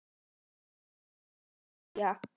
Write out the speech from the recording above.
Það vissi Fía.